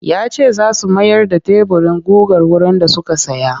Ya ce za su mayar da teburin gugar wurin da suka saya